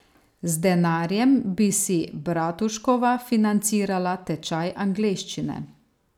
Z denarjem bi si Bratuškova financirala tečaj angleščine.